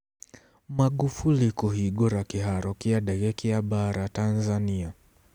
Magufuli kũhingũra kĩharo kĩa ndege kĩa mbaara Tanzania